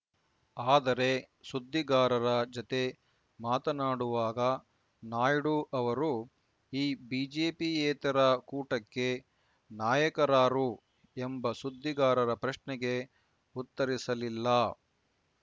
ಆದರೆ ಸುದ್ದಿಗಾರರ ಜತೆ ಮಾತನಾಡುವಾಗ ನಾಯ್ಡು ಅವರು ಈ ಬಿಜೆಪಿಯೇತರ ಕೂಟಕ್ಕೆ ನಾಯಕರಾರು ಎಂಬ ಸುದ್ದಿಗಾರರ ಪ್ರಶ್ನೆಗೆ ಉತ್ತರಿಸಲಿಲ್ಲ